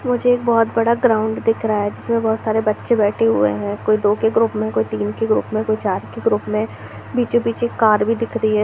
मुझे एक बहुत बड़ा ग्राउंड दिख रहा है जिसमें बहुत सारे बच्चे बैठे हुए है कोई दो के ग्रुप में कोई तीन के ग्रुप में कोई चार के ग्रुप में बीचों-बीच एक कार भी दिख रही है।